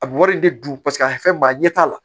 A bɛ wari in de dun paseke a fɛ maa ɲɛ t'a la